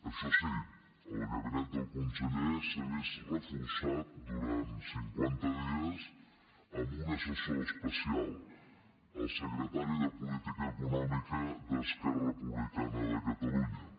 això sí el gabinet del conseller s’ha vist reforçat durant cinquanta dies amb un assessor especial el secretari de política econòmica d’esquerra republicana de catalunya